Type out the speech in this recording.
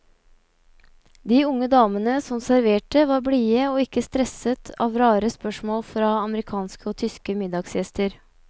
De unge damene som serverte var blide og ikke stresset av rare spørsmål fra amerikanske og tyske middagsgjester.